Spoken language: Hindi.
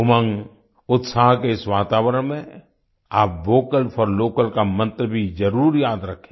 उमंग उत्साह के इस वातावरण में आप वोकल फोर लोकल का मंत्र भी जरुर याद रखें